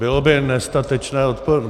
Bylo by nestatečné neodpovědět.